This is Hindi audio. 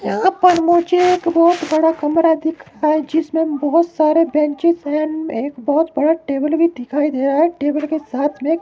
यहां पर मुझे एक बोत बड़ा कमरा दिख रहा है जिसमे बोहोत सारे बेंचेस है न एक बोहोत बड़ा टेबल भी दिखाई दे रहा है टेबल के साथ में --